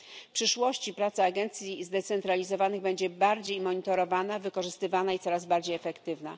W przyszłości praca agencji zdecentralizowanych będzie bardziej monitorowana, wykorzystywana i coraz bardziej efektywna.